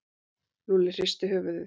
Lúlli hristi höfuðið.